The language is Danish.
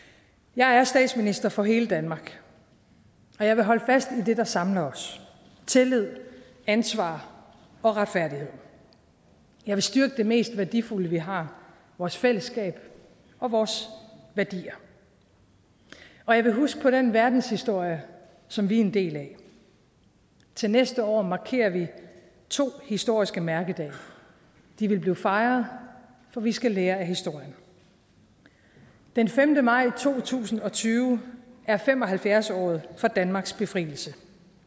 jeg er statsminister for hele danmark og jeg vil holde fast i det der samler os tillid ansvar og retfærdighed jeg vil styrke det mest værdifulde vi har vores fællesskab og vores værdier og jeg vil huske på den verdenshistorie som vi er en del af til næste år markerer vi to historiske mærkedage de vil blive fejret for vi skal lære af historien den femte maj to tusind og tyve er fem og halvfjerds året for danmarks befrielse